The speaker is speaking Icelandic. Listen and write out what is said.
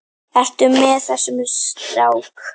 Ertu með þessum strák?